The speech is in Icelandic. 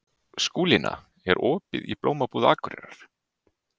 Skúlína, er opið í Blómabúð Akureyrar?